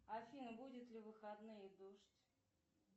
афина будет ли в выходные дождь